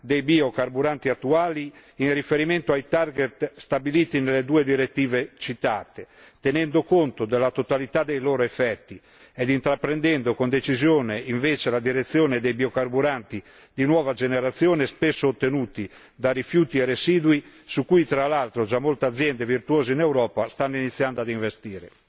dei biocarburanti attuali in riferimento ai target stabiliti nelle due direttive citate, tenendo conto della totalità dei loro effetti e intraprendendo viceversa con decisione la direzione dei biocarburanti di nuova generazione, spesso ottenuti da rifiuti e residui su cui tra l'altro già molte aziende virtuose in Europa stanno iniziando a investire.